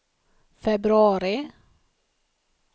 februari